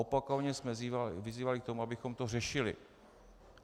Opakovaně jsme vyzývali k tomu, abychom to řešili.